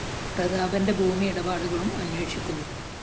പ്രതാപന്റെ ഭൂമി ഇടപാടുകളും അന്വേഷിക്കുന്നു